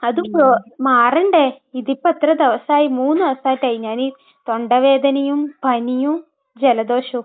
അതും മാറണ്ടേ? ഇതിപ്പോ എത്ര ദിവസമായി? മൂന്ന് ദിവസമാട്ടെ ആയി ഞാൻ ഈ തൊണ്ട വേദനയും പനിയും ജലദോഷവും.